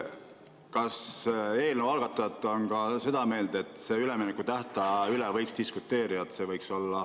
Kas eelnõu algatajad on ka seda meelt, et üleminekutähtaja üle võiks diskuteerida?